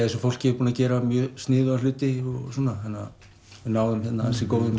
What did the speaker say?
þessu fólki búið að gera sniðuga hluti við náðum ansi góðum